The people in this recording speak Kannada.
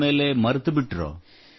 ಬಂದ ಮೇಲೆ ಮರೆತುಬಿಟ್ಟಿರೊ